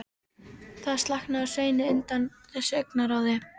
Það slaknaði á Sveini undan þessu augnaráði.